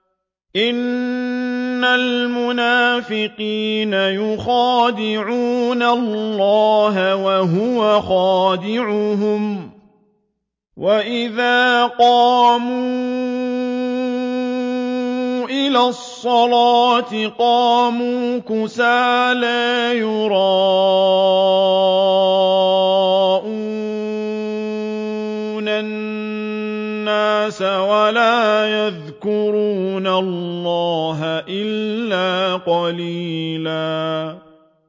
إِنَّ الْمُنَافِقِينَ يُخَادِعُونَ اللَّهَ وَهُوَ خَادِعُهُمْ وَإِذَا قَامُوا إِلَى الصَّلَاةِ قَامُوا كُسَالَىٰ يُرَاءُونَ النَّاسَ وَلَا يَذْكُرُونَ اللَّهَ إِلَّا قَلِيلًا